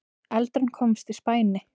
Eldurinn komst í spæni